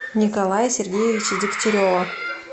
николая сергеевича дегтярева